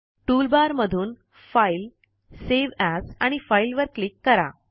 toolbar मधून file save as आणि file वर क्लिक करा